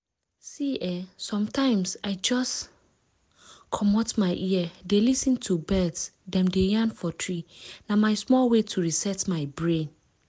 see eh sometimes i just pause commot my ear dey lis ten to bird dem dey yarn for tree—na my small way to reset my brain.